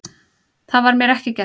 Það var mér ekki gert